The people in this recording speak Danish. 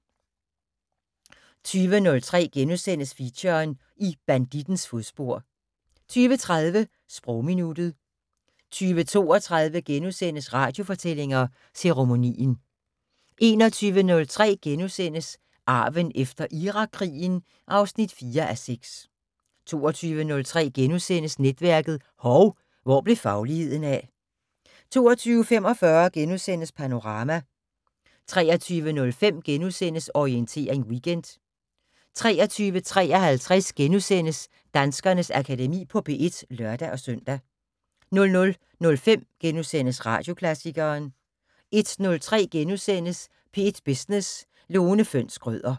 20:03: Feature: I bandittens fodspor * 20:30: Sprogminuttet 20:32: Radiofortællinger: Ceremonien * 21:03: Arven efter Irakkrigen (4:6)* 22:03: Netværket: Hov, hvor blev fagligheden af? * 22:45: Panorama * 23:05: Orientering Weekend * 23:53: Danskernes Akademi på P1 *(lør-søn) 00:05: Radioklassikeren * 01:03: P1 Business: Lone Fønss Schrøder *